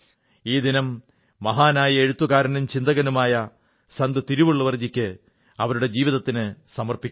ഈ ദിനം മഹാനായ എഴുത്തുകാരനും ചിന്തകനുമായ തിരുവള്ളുവർജിക്ക് അവരുടെ ജീവിതത്തിന് സമർപ്പിക്കുന്നു